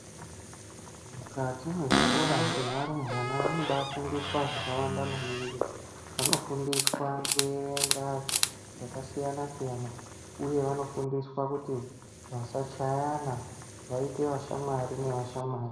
Mukati mwezvikora zvevarumbwana vanobafundiswa zvakawanda maningi vanofundiswa kuerenga zvakasiyana siyana uye vanofundiswa kuti vasachayana vaite vashamwari nevashamwari.